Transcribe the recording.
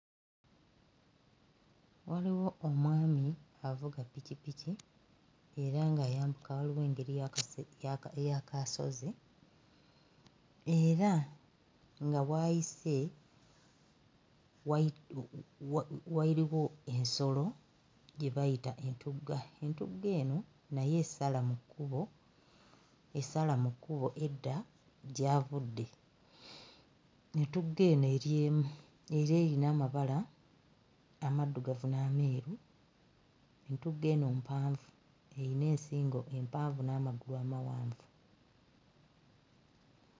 Waliwo omwami avuga ppikippiki era ng'ayambuka waliwo engeri yakase yaka y'akasozi era nga w'ayise wayi wa waliwo ensolo gye bayita entugga, entugga eno nayo esala mu kkubo, esala mu kkubo edda gy'avudde. Entugga eno eri emu era eyina amabala amaddugavu n'ameeru, entugga eno mpanvu eyina ensingo empanvu n'amagulu amawanvu.